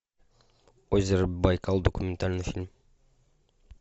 озеро байкал документальный фильм